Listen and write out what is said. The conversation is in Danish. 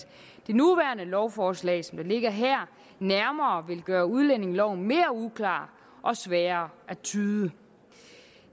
det nuværende lovforslag som det ligger her nærmere vil gøre udlændingeloven mere uklar og sværere at tyde